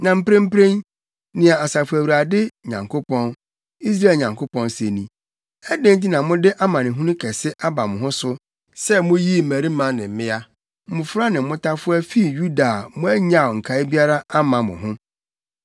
“Na mprempren, nea Asafo Awurade Nyankopɔn, Israel Nyankopɔn se ni: Adɛn nti na mode amanehunu kɛse aba mo ho so, sɛ muyii mmarima ne mmea, mmofra ne mmotafowa fii Yuda a moannyaw nkae biara amma mo ho.